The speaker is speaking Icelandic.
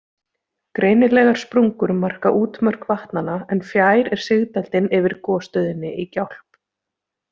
Greinilegar sprungur marka útmörk vatnanna, en fjær er sigdældin yfir gosstöðinni í Gjálp.